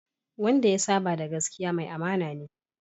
Wanda ya saba da gaskiya, mai amana ce